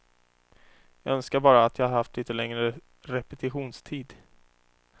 Jag önskar bara att jag haft lite längre repetitionstid.